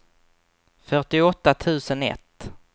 fyrtioåtta tusen ett